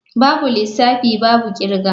Babu lissafi babu kirga.